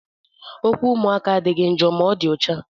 Okwu ụmụaka adịghị njọ ma dị ọcha.